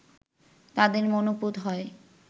তাদের মনোপুত হয়